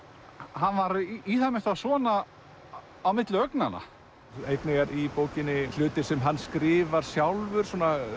hann var í það minnsta svona á milli augnanna einnig er í bókinni hlutir sem hann skrifar sjálfur